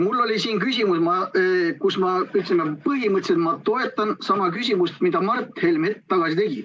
Ma ütlesin, et ma põhimõtteliselt toetan sama ettepanekut, mille Mart Helme hetk tagasi tegi.